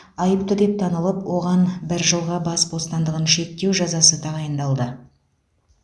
айыпты деп танылып оған бір жылға бас бостантығын шектеу жазасы тағайындалды